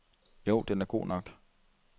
Jo, den er god nok.